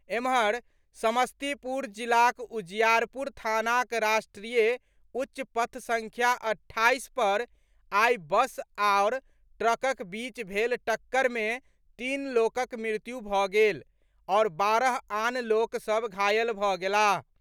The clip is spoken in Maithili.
एम्हर, समस्तीपुर जिलाक उजियारपुर थानाक राष्ट्रीय उच्च पथ संख्या अठाईस पर आई बस आओर ट्रकक बीच भेल टक्कर मे तीन लोकक मृत्यु भऽ गेल आओर बारह आन लोक सभ घायल भऽ गेलाह।